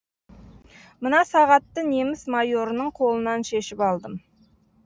мына сағатты неміс майорының қолынан шешіп алдым